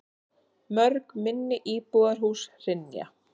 Mörg minni íbúðarhús hrynja.